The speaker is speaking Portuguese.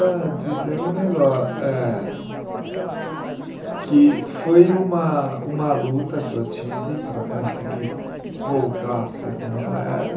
Dizer um nego, eh, que foi uma uma luta que eu tive para conseguir voltar a ser como eu era,